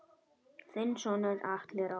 Þinn sonur Atli Rafn.